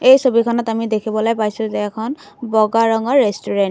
এই ছবিখনত আমি দেখিবলৈ পাইছোঁ যে এখন বগা ৰঙৰ ৰেষ্টুৰেন্ত ।